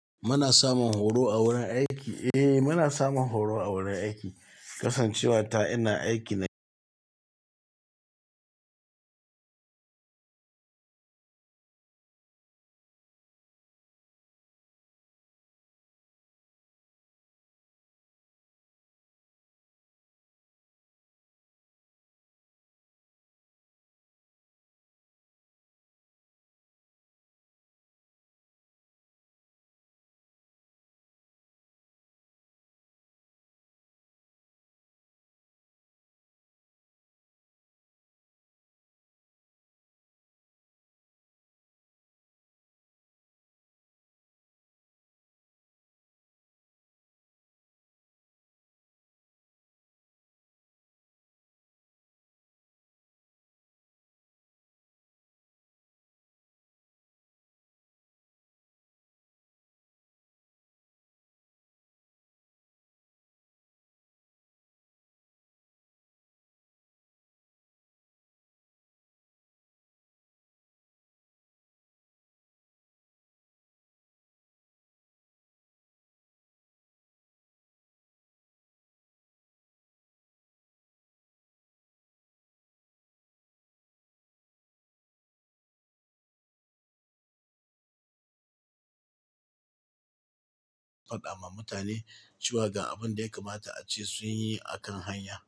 Muna samun horo a wurin aiki? Eh, muna samun horo a wurin aiki. Kasancewa ta ina aiki na faɗa ma mutane cewa ga abin da ya kamata a ce sunyi akan hanya.